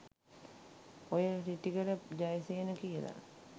ඔය රිටිගල ජයසේන කියල